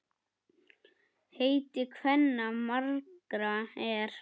Heiti kvenna margra er.